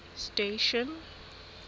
station